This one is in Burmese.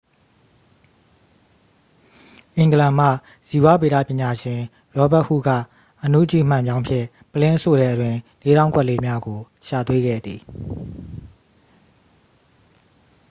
အင်္ဂလန်မှ ဇီဝဗေဒပညာရှင် ရောဘတ်ဟုခ် က အနုကြည့်မှန်ပြောင်းဖြင့် ပုလင်းအဆို့ထဲတွင် လေးထောင့်ကွက်လေးများကို ရှာတွေ့ခဲ့သည်